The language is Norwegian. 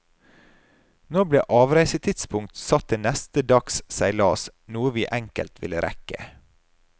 Nå ble avreisetidspunkt satt til neste dags seilas, noe vi enkelt ville rekke.